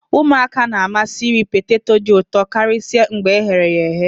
ụmụaka na-amasị iri poteto dị ụtọ karịsịa mgbe e ghere eghe